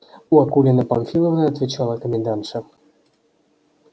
у акулины памфиловны отвечала комендантша